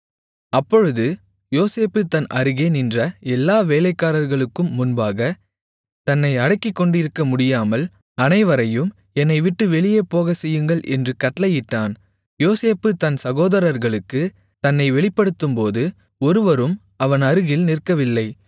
அப்பொழுது யோசேப்பு தன் அருகே நின்ற எல்லா வேலைக்காரர்களுக்கும் முன்பாகத் தன்னை அடக்கிக்கொண்டிருக்கமுடியாமல் அனைவரையும் என்னைவிட்டு வெளியே போகச்செய்யுங்கள் என்று கட்டளையிட்டான் யோசேப்பு தன் சகோதரர்களுக்குத் தன்னை வெளிப்படுத்தும்போது ஒருவரும் அவன் அருகில் நிற்கவில்லை